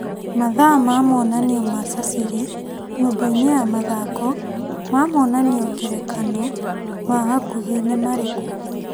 Mathaa ma monanio ma Caciri nyũmba- inĩ ya mathako ma monanio ngerekano ma hakuhĩ nĩ marĩkũ?